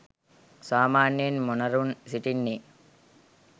සාමාන්‍යයෙන් මොණරුන් සිටින්නේ